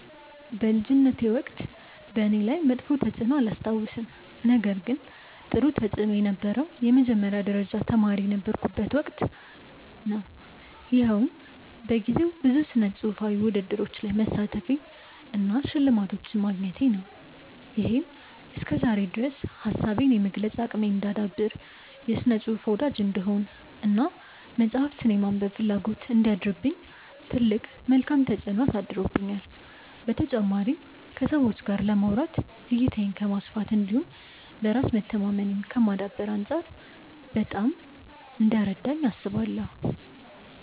በልጅነቴ ወቅት በእኔ ላይ መጥፎ ተፅዕኖ አላስታውስም ነገር ግን ጥሩ ተፅእኖ የነበረው የመጀመሪያ ደረጃ ተማሪ የነበርኩበት ወቅት ነው። ይኸውም በጊዜው ብዙ ስነፅሁፋዊ ውድድሮች ላይ መሳተፌ እና ሽልማቶችን ማግኘቴ ነው። ይሄም እስከዛሬ ድረስ ሀሳቤን የመግለፅ አቅሜን እንዳዳብር፣ የስነ ፅሁፍ ወዳጅ እንድሆን እና መፅሀፍትን የማንበብ ፍላጎት እንዲያድርብኝ ትልቅ መልካም ተፅዕኖ አሳድሮብኛል። በተጨማሪም ከሰዎች ጋር ለማውራት፣ እይታዬን ከማስፋት እንዲሁም በራስ መተማመኔን ከማዳበር አንፃር በጣም ረድቶኛል።